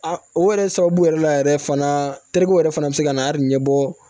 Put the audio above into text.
O yɛrɛ sababu yɛrɛ la yɛrɛ fana teri ko yɛrɛ fana bɛ se ka na a ɲɛ bɔ